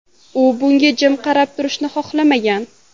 U bunga jim qarab turishni xohlamagan.